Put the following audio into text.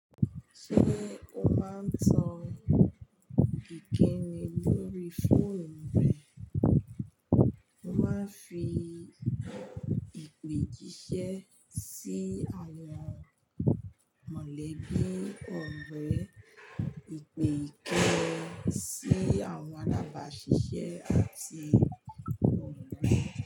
Ṣé o máa ń tan kékeré lórí fóònù rẹ, ó máa ń fi ìpèjíṣẹ́ sí àwọn mọ̀lẹ́bí ọ̀rẹ́, ìpè ìké ẹ sí àwọn alábàáṣiṣẹ́ àti ọ̀rẹ́ rẹ?